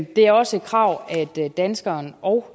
det er også et krav at danskeren og